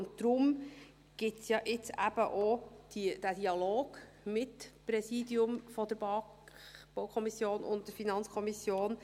Deshalb gibt es jetzt ja eben auch den Dialog, mit dem Präsidium der BaK, der BaK also, und der FiKo.